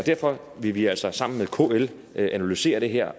derfor vil vi altså sammen med kl analysere det her